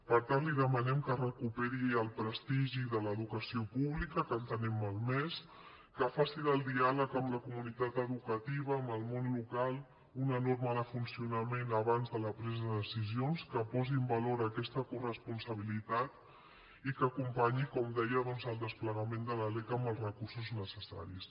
per tant li demanem que recuperi el prestigi de l’educació pública que el tenim malmès que faci del diàleg amb la comunitat educativa amb el món local una norma de funcionament abans de la presa de decisions que posi en valor aquesta coresponsabilitat i que acompanyi com deia doncs el desplegament de la lec amb els recursos necessaris